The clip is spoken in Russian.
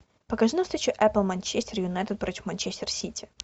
покажи нам встречу апл манчестер юнайтед против манчестер сити